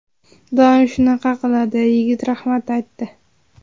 Doim shunaqa qiladi... Yigit rahmat aytdi.